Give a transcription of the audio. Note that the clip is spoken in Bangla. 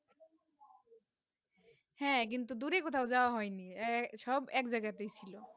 হেঁ কিন্তু দূরে কোথাও যাওবা হয়ে নি এ সব এক জায়গা তে ছিল